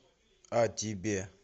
о тебе